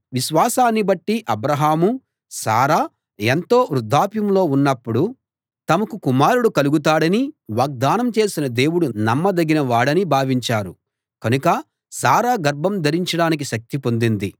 విశ్వాసాన్ని బట్టి అబ్రాహామూ శారా ఎంతో వృద్ధాప్యంలో ఉన్నప్పుడు తమకు కుమారుడు కలుగుతాడని వాగ్దానం చేసిన దేవుడు నమ్మదగిన వాడని భావించారు కనుక శారా గర్భం ధరించడానికి శక్తి పొందింది